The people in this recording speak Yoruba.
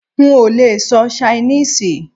N ò lee sọ Ṣainíìsì